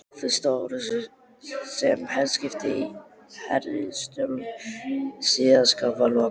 Fyrstu orrustu, sem herskip háðu í heimsstyrjöldinni síðari, var lokið